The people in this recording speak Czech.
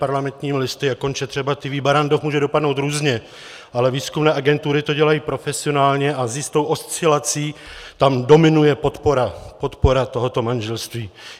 Parlamentními listy a konče třeba TV Barrandov může dopadnout různě, ale výzkumné agentury to dělají profesionálně a s jistou oscilací tam dominuje podpora tohoto manželství.